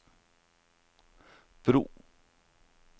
bro